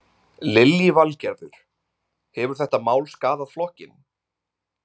Lillý Valgerður: Hefur þetta mál skaðað flokkinn?